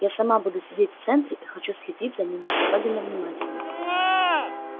я сама буду сидеть в центре и хочу следить за ними особенно внимательно